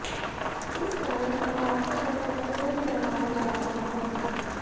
इस कारण पटाखों पर प्रतिबंध लगाया जा रहा है